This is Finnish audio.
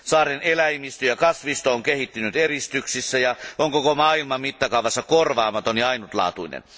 Saaren eläimistö ja kasvisto on kehittynyt eristyksissä ja on koko maailman mittakaavassa korvaamaton ja ainutlaatuinen.